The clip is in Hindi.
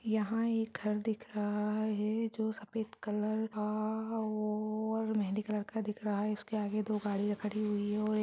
यहाँ एक घर दिख रहा है जो सफेद कलर का और मेहंदी कलर का दिख रहा है इसके आगे दो गाड़ीयां खड़ी हुई है और--